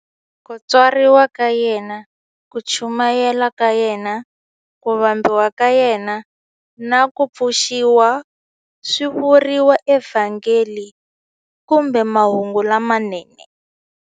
Ku tswariwa ka yena, ku chumayela ka yena, ku vambiwa ka yena, na ku pfuxiwa swi vuriwa eVhangeli kumbe Mahungu lamanene.